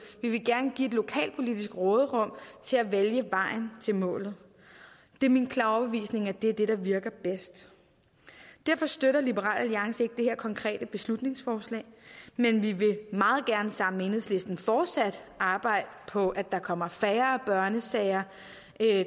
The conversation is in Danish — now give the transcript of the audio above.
vil gerne give lokalpolitisk råderum til at vælge vejen til målet det er min klare overbevisning at det virker bedst derfor støtter liberal alliance ikke det konkrete beslutningsforslag men vi vil meget gerne sammen med enhedslisten fortsat arbejde på at der kommer færre børnesager